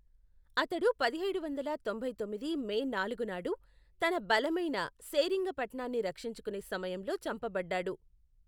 అతడు పదిహేడు వందల తొంభై తొమ్మిది మే నాలుగు నాడు తన బలమైన సేరింగపట్నాన్ని రక్షించుకునే సమయంలో చంపబడ్డాడు.